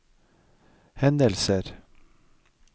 hendelser